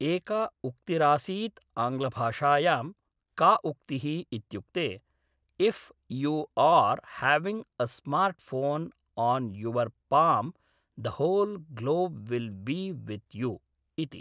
एका उक्तिरासीत् आङ्ग्लभाषायां का उक्तिः इत्युक्ते if you are having a smart phone on your palm the whole globe will be with you इति